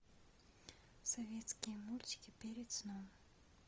советские мультики перед сном